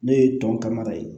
Ne ye tɔn ka mara ye